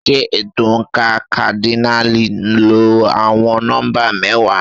Ṣé ètò oǹkà kádínààlì lo àwọn nọ́mbà mẹ́wàá?